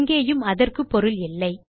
இங்கேயும் அதற்கு பொருள் இல்லை